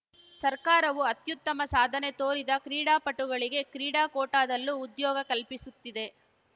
ಸರ್ಕಾರವು ಅತ್ಯುತ್ತಮ ಸಾಧನೆ ತೋರಿದ ಕ್ರೀಡಾಪಟುಗಳಿಗೆ ಕ್ರೀಡಾ ಕೋಟಾದಲ್ಲೂ ಉದ್ಯೋಗ ಕಲ್ಪಿಸುತ್ತಿದೆ